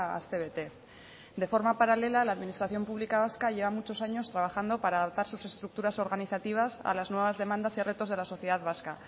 astebete de forma paralela la administración pública vasca lleva muchos años trabajando para adoptar sus estructuras organizativas a las nuevas demandas y retos de la sociedad vasca